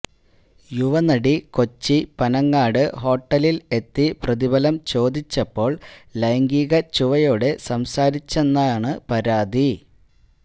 യുവ നടി കൊച്ചി പനങ്ങാട് ഹോട്ടലിൽ എത്തി പ്രതിഫലം ചോദിച്ചപ്പോൾ ലൈംഗികച്ചുവയോടെ സംസാരിച്ചെന്നാണു പരാതി